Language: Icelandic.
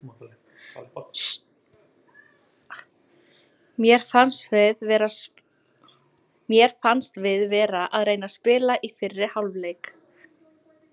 Mér fannst við vera að reyna að spila í fyrri hálfleik.